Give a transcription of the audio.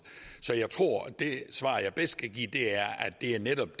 så jeg tror at det svar jeg bedst kan give er at det netop